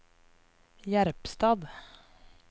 Jerpstad